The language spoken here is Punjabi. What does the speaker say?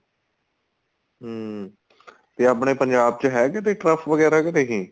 ਹਮ ਤੇ ਆਪਣੇ ਪੰਜਾਬ ਚ ਹੈ ਕਿੱਥੇ turf ਵਗੈਰਾ ਕੇ ਨਹੀਂ